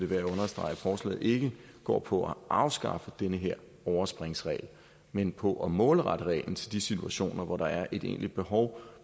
værd at understrege at forslaget ikke går på at afskaffe den her overspringsregel men på at målrette reglen til de situationer hvor der er et egentligt behov